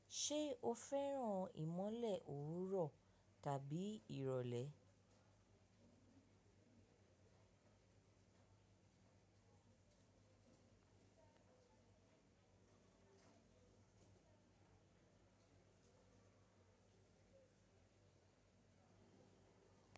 Ṣé o fẹ́ràn ìmọ́lẹ̀ òwúrọ̀ tàbí ìrọ̀lẹ́?